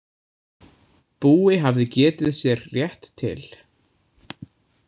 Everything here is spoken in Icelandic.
Búi hafði getið sér rétt til.